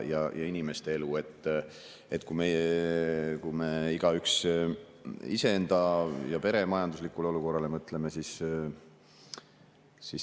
Mõtleme igaüks iseenda ja oma pere majanduslikule olukorrale.